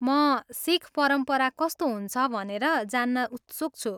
म सिख परम्परा कस्तो हुन्छ भनेर जान्न उत्सुक छु।